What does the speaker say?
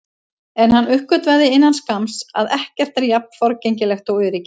En hann uppgötvaði innan skamms að ekkert er jafn forgengilegt og öryggið.